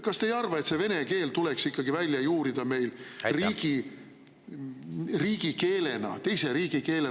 Kas te ei arva, et vene keel tuleks ikkagi täielikult välja juurida meil teise riigikeelena?